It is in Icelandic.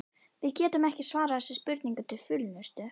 Við getum ekki svarað þessari spurningu til fullnustu.